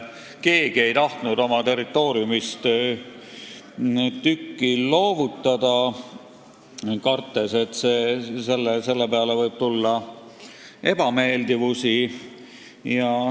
Keegi ei tahtnud oma territooriumist tükki loovutada, kartes, et selle peale võib tulla ebameeldivusi.